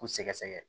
K'u sɛgɛsɛgɛ